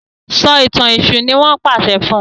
So ìtàn èṣù ní wón pàṣẹ fún.